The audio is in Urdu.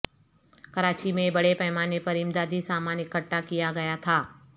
کراچی میں بڑے پیمانے پر امدادی سامان اکٹھا کیا گیا تھا